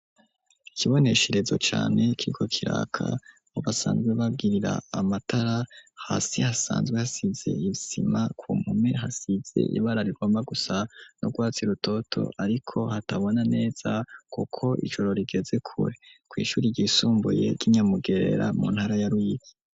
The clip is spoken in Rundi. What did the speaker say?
Ikibonesherezo cane, kiriko kiraka, aho basanzwe, bagirira amatara; hasi, hasanzwe hasize, isima; ku mpome hasize, ibara rigomba gusa, n’urwatsi rutoto, ariko, hatabona neza, kuko ijoro, rigeze kure, kw’ishuri ryisumbuye, ry'i Nyamugerera, mu ntara ya Ruyigi.